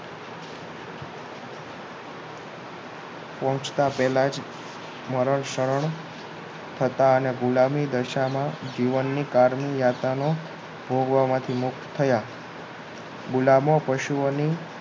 પહોંચતા પહેલા જ મરણ શરણ થતા અને ગુલામી દશામાં જીવનની કારની યાત્રાનો ભોગવવા માંથી મુક્ત થયા ગુલામો પશુઓની